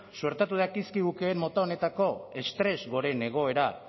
suertatu dakizkigukeen mota honetako estres goren egoera